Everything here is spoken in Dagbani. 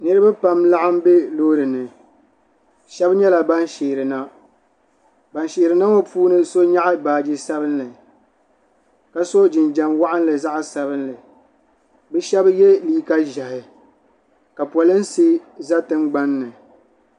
Niriba pam n-laɣim be loori ni shɛba nyɛla ban sheeri na ban sheeri na ŋɔ puuni so nyaɣi baaji sabinli ka so jinjam waɣinli zaɣ'sabinli bɛ shɛba ye liiga ʒɛhi ka polinsi za tingbani ni.